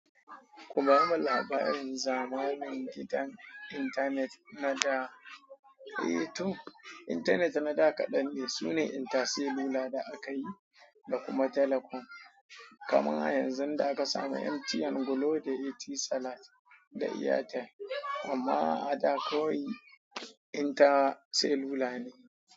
Ku bamu labarin zamani gidan intanet na da, eh to intanet na da kaɗan ne. Sune InterCellular da aka yi da kuma Telecom. Kaman a yanzu da aka samu MTN, Glo da Etisalat da Airtel. Amma a da kawai InterCellular ne.